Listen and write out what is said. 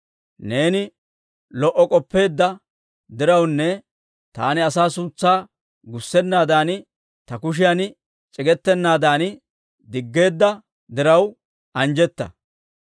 Neeni lo"o k'oppeedda dirawunne taani asaa suutsaa gussennaadaan ta kushiya c'igetennaadan diggeedda diraw, anjjetta.